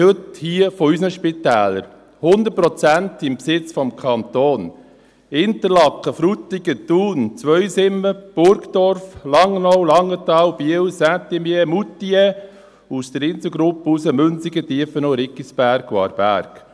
Ich spreche heute hier von unseren Spitälern, 100 Prozent im Besitz des Kantons: Interlaken, Frutigen, Thun, Zweisimmen, Burgdorf, Langnau, Langenthal, Biel, Saint-Imier, Moutier, und aus der Inselgruppe Münsingen, Tiefenau, Riggisberg und Aarberg.